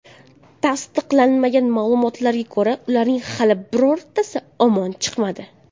Tasdiqlanmagan ma’lumotlarga ko‘ra, ularning hali birontasi omon chiqmadi.